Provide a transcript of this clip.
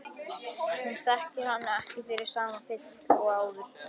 Hún þekkir hann ekki fyrir sama pilt og áður.